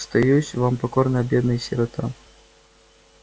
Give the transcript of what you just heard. остаюсь вам покорная бедная сирота